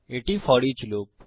এটি foreach loop